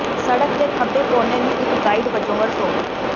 ਸੜਕ ਦੇ ਖੱਬੇ ਕੋਨੇ ਨੂੰ ਇੱਕ ਗਾਈਡ ਵਜੋਂ ਵਰਤੋ